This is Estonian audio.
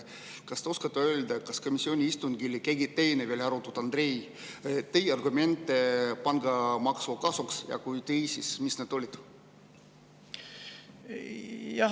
Kas te oskate öelda, kas komisjoni istungil veel keegi teine peale Andrei tõi argumente pangamaksu kasuks ja kui tõi, siis mis need olid?